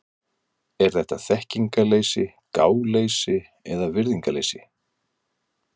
Er þetta þekkingarleysi, gáleysi eða virðingarleysi?